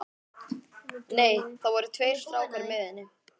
Nei, það voru tveir strákar með henni.